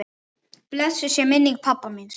Blessuð sé minning pabba míns.